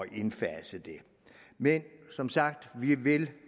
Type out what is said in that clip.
indfase det men som sagt vil